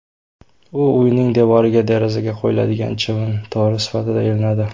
U uyning devoriga derazaga qo‘yiladigan chivin to‘ri sifatida ilinadi.